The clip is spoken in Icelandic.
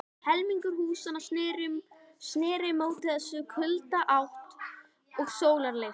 Helmingur húsanna sneri móti mestu kuldaátt og sólarleysi.